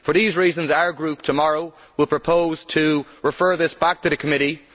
For these reasons, our group tomorrow will propose to refer this back to committee.